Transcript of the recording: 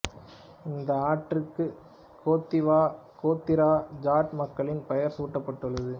இந்த ஆற்றிற்கு கேத்திவா கோத்திர ஜாட் மக்களின் பெயர் சூட்டப்பட்டுள்ளது